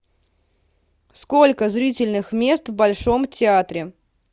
сколько зрительных мест в большом театре